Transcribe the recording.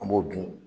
An b'o dun